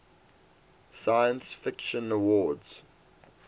science fiction awards